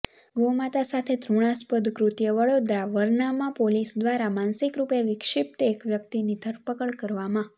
ગૌ માતા સાથે ઘૃણાસ્પદ કૃત્ય વડોદરાઃ વરનામા પોલીસ દ્વારા માનસિકરુપે વિક્ષિપ્ત એક વ્યક્તિની ધરપકડ કરવામાં